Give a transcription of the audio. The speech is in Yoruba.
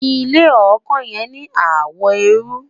ilé ọkàn yen ní àwo erui